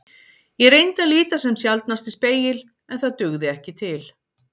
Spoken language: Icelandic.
Ég reyndi að líta sem sjaldnast í spegil en það dugði ekki til.